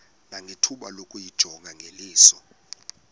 nangethuba lokuyijonga ngeliso